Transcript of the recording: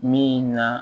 Min na